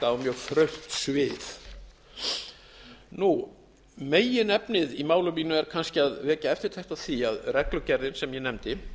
afmarkað á mjög þröngt svið meginefnið í máli mínu er kannski að vekja eftirtekt á því að reglugerðin sem ég nefndi